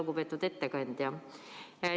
Lugupeetud ettekandja!